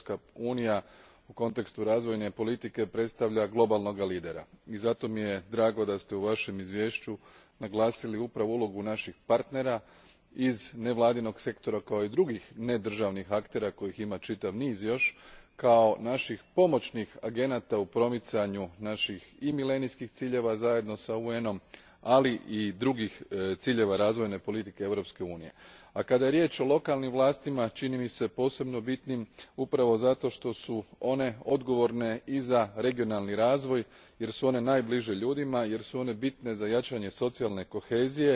Europska unija u kontekstu razvojne politike predstavlja globalnog lidera i zato mi je drago da ste u svojem izvješću naglasili upravo ulogu naših partnera iz nevladinog sektora kao i drugih nedržavnih aktera kojih ima još čitav niz, kao naših pomoćnih agenata u promicanju naših i milenijskih ciljeva zajedno s UN om, ali i drugih ciljeva razvojne politike Europske unije. Kada je riječ o lokalnim vlastima, čini mi se posebno bitnim, upravo zato što su one odgovorne i za regionalni razvoj, jer su one najbliže ljudima, jer su bitne za jačanje socijalne kohezije